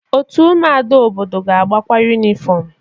Otu ụmụada n'obodo na-agbakwa yunịfọm.